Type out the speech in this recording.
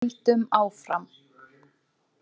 Við sigldum áfram.